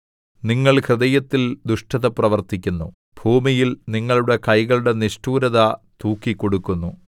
നിങ്ങൾ ഹൃദയത്തിൽ ദുഷ്ടത പ്രവർത്തിക്കുന്നു ഭൂമിയിൽ നിങ്ങളുടെ കൈകളുടെ നിഷ്ഠൂരത തൂക്കിക്കൊടുക്കുന്നു